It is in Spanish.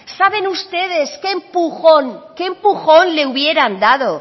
saben ustedes qué empujón le hubieran dado